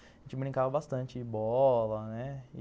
A gente brincava bastante bola, né?